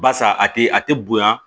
Barisa a tɛ a tɛ bonya